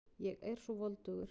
Ég er svo voldugur.